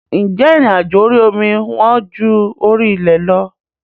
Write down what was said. Ǹjẹ́ ìrìn àjò orí omi wọ́n ju orí ilẹ̀ lọ?